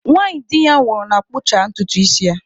Nwanyị di ya nwụrụ na-akpụcha ntutu isi ya.